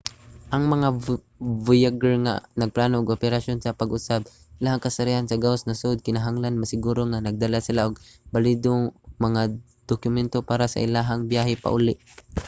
ang mga voyager nga nagplano og operasyon sa pag-usab sa ilahang kasarian sa gawas sa nasud kinahanglan masiguro nga nagdala sila og balido nga mga dokumento para sa ilahang biyahe pauli